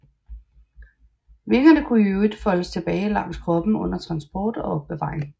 Vingerne kunne i øvrigt foldes tilbage langs kroppen under transport og opbevaring